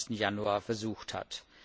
21. Januar versucht hat.